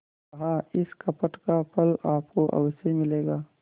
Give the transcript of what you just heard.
कहाइस कपट का फल आपको अवश्य मिलेगा